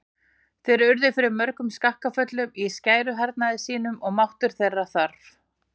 Þeir urðu fyrir mörgum skakkaföllum í skæruhernaði sínum og máttur þeirra þvarr.